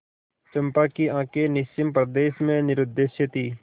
चंपा की आँखें निस्सीम प्रदेश में निरुद्देश्य थीं